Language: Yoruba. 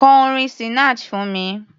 Kọ orin Sinach fún mi!